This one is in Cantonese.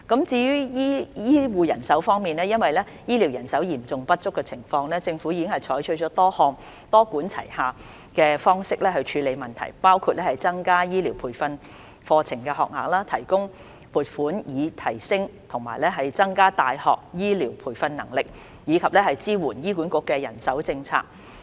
至於醫護人手方面，因醫療人手嚴重不足，政府已採取多項多管齊下的方式處理相關問題，包括增加醫療培訓課程學額，提供撥款以提升和增加大學醫療培訓能力，以及支援醫管局的人手政策。